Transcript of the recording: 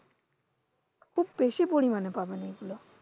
খুব বেশি পরিমাণে পাবেন এগুলো।